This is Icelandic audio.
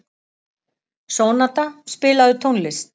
Sónata, spilaðu tónlist.